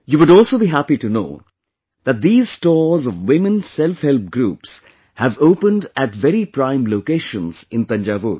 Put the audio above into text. You would also be happy to know that these stores of Women Self Help Groups have opened at very prime locations in Thanjavur